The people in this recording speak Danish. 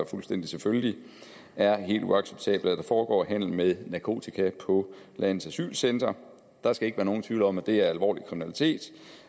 fuldstændig selvfølgeligt er helt uacceptabelt at der foregår handel med narkotika på landets asylcentre der skal ikke være nogen tvivl om at det er alvorlig kriminalitet